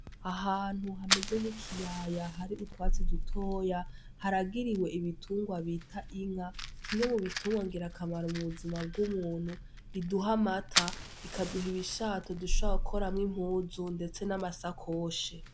Ahantu hameze nk'ikiyaya har'utwatsi dutotahaye ,harigiriwe igitunrwa bita Inka kimwe mubitungrwa ngir'akamaro m'ubuzima bw'umuntu. Iduha amata ,ikakduha urushato dushobora gukoramwo Impuzu ndetse n'amashakoshi.